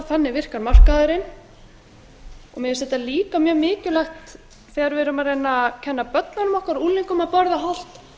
þannig og mér finnst þetta líka mjög mikilvægt þegar við erum að reyna að kenna börnunum okkar og unglingum að borða hollt